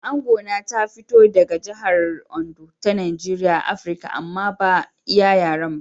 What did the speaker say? Angona ta fito daga jihar Ondo ta Najeriya a Afirka amma ba ya iya yaren.